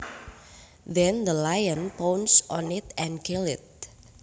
Then the lion pounced on it and killed it